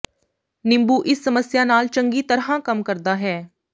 ਨਿੰਬੂ ਇਸ ਸਮੱਸਿਆ ਨਾਲ ਚੰਗੀ ਤਰ੍ਹਾਂ ਕੰਮ ਕਰਦਾ ਹੈ